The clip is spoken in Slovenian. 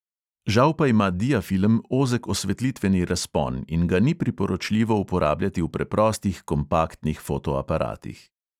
Žal pa ima diafilm ozek osvetlitveni razpon in ga ni priporočljivo uporabljati v preprostih kompaktnih fotoaparatih.